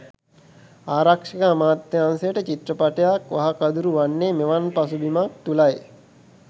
ආරක්ෂක අමාත්‍යාංශයට චිත්‍රපටයක් වහකදුරු වන්නේ මෙවන් පසුබිමක් තුළයි.